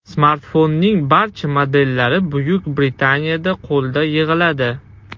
Smartfonning barcha modellari Buyuk Britaniyada qo‘lda yig‘iladi.